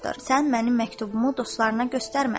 Sən mənim məktubumu dostlarına göstərmə.